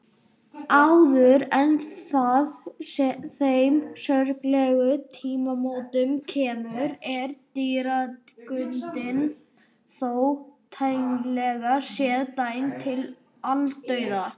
Áður en að þeim sorglegu tímamótum kemur er dýrategundin þó tæknilega séð dæmd til aldauða.